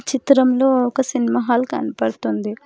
చిత్రంలో ఒక cinema hall కనబడుతుంది.